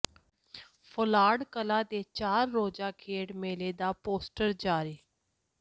ਫ਼ਲੌਾਡ ਕਲਾਂ ਦੇ ਚਾਰ ਰੋਜ਼ਾ ਖੇਡ ਮੇਲੇ ਦਾ ਪੋਸਟਰ ਜਾਰੀ